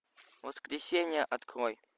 воскресенье открой